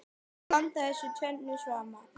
Að blanda þessu tvennu saman.